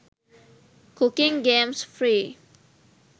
cooking games free